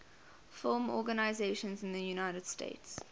film organizations in the united states